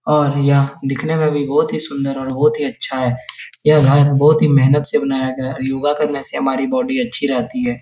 और यह दिखने में भी बोहोत सुंदर और बोहोत ही अच्छा है। यह घर बोहोत ही मेहनत से बनाया गया है। योगा करने से हमारी बॉडी अच्छी रहती है।